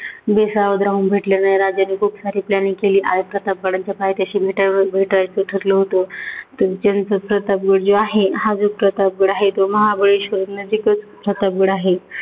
बेसावध राहून भेटल्यामुळे राजांनी खूप सारी planning केली. आणि प्रतापगडाच्या पायथ्याशी भेटावय भेटायचं ठरलं होतंं. पण त्याचं प्रतापगड जो आहे हा जो प्रतापगड आहे, तो महाबळेश्वर नदीकाठचा प्रतापगड आहे.